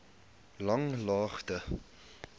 langlaagte